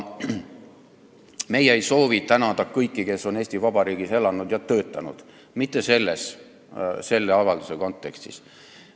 Meie ei soovi tänada kõiki, kes on Eesti Vabariigis elanud ja töötanud – mitte selle avalduse kontekstis.